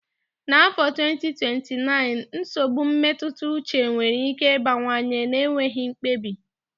N'afọ 2029, nsogbu mmetụta uche nwere ike ịbawanye na-enweghị mkpebi.